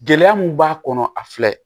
Gɛlɛya mun b'a kɔnɔ a filɛ